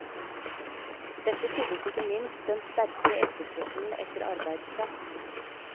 Dette skyldtes ikke minst den sterke etterspørselen etter arbeidskraft.